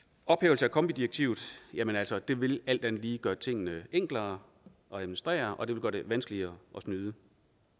ophævelse af kombidirektivet jamen altså det vil alt andet lige gøre tingene enklere at administrere og det vil gøre det vanskeligere at snyde